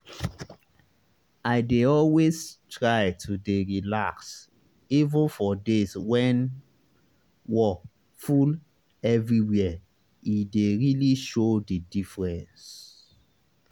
i dey always try to dey relax even for days when wor full everywhere e dey really show the diffrence